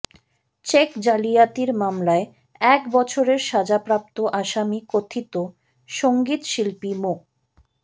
check জালিয়াতির মামলায় এক বছরের সাজাপ্রাপ্ত আসামি কথিত সংগীতশিল্পী মো